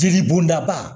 Jeli bɔnda ba